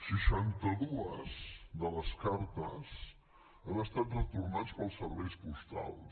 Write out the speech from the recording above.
seixanta dues de les cartes han estat retornades pels serveis postals